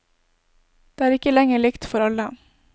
Det er ikke lenger likt for alle.